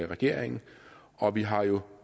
regeringen og vi har jo